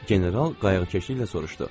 General qayğıkeşliklə soruşdu.